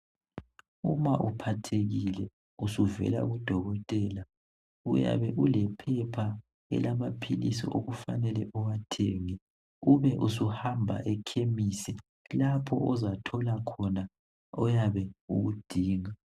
Uma uphathekile usuvela kudokotela uyabe ulephepha elamaphilisi okufanele uwathenge ube usuhamba ekhemisi lapho ozathola khona lokho oyabe sukudinga.